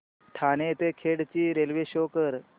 ठाणे ते खेड ची railway show करा